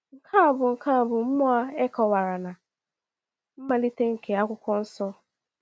Nke a bụ Nke a bụ mmụọ e kọ̀wara na mmalite nke Akwụkwọ Nsọ.